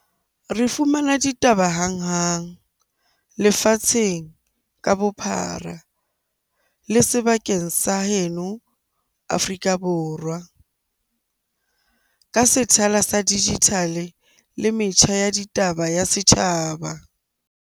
Re fumana ditaba hanghang lefatsheng ka bophara le sebakeng sa heno Afrika Borwa. Ka sethala sa digital-e le metjha ya ditaba ya setjhaba.